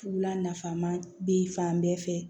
Wula nafama bɛ fan bɛɛ fɛ